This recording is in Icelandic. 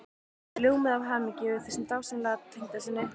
Þau ljómuðu af hamingju yfir þessum dásamlega tengdasyni.